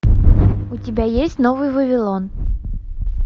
у тебя есть новый вавилон